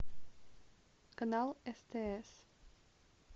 канал стс